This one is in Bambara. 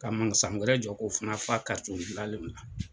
Ka wɛrɛ jɔ ko fana fa ka la